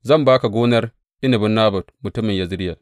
Zan ba ka gonar inabin Nabot mutumin Yezireyel.